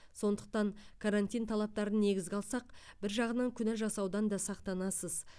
сондықтан карантин талаптарын негізге алсақ бір жағынан күнә жасаудан да сақтанасыз